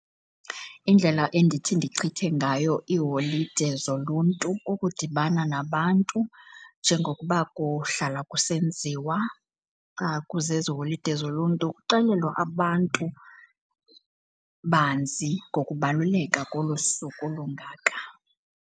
Indlela endithi ndichithe ngayo iiholide zoluntu kukudibana nabantu, njengokuba kuhlala kusenziwa xa kuzezi holide zoluntu, kuxelelwa abantu banzi ngokubaluleka kolu suku lungaka.